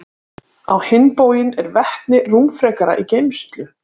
Á hinn bóginn er vetni rúmfrekara í geymslu.